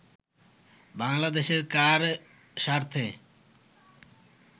বাংলাদেশে কার স্বার্থে